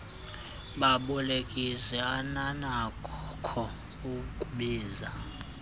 babolekisi ananakho ukubiza